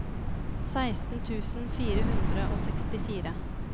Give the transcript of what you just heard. seksten tusen fire hundre og sekstifire